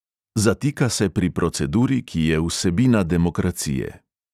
Zatika se pri proceduri, ki je vsebina demokracije.